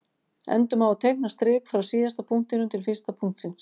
Endum á að teikna strik frá síðasta punktinum til fyrsta punktsins.